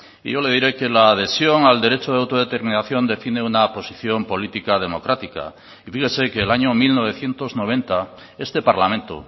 y yo le diré que la adhesión al derecho de autodeterminación define una posición política democrática y fíjese que el año mil novecientos noventa este parlamento